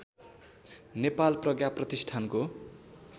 नेपाल प्रज्ञा प्रतिष्ठानको